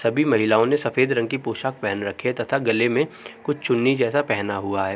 सभी महिलाओ ने सफ़ेद रंग की पोशाक पहन रखी है तथा गले में कुछ चुन्नी जैसा पहना हुआ है।